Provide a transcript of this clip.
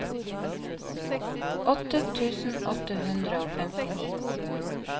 åtte tusen åtte hundre og femtini